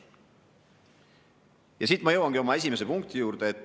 Ja siit ma jõuangi oma esimese punkti juurde.